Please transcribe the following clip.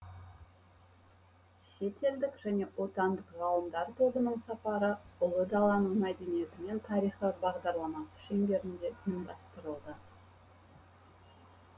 шетелдік және отандық ғалымдар тобының сапары ұлы даланың мәдениеті мен тарихы бағдарламасы шеңберінде ұйымдастырылды